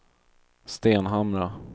Stenhamra